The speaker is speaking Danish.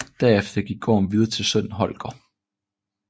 Derefter gik gården videre til sønnen Holger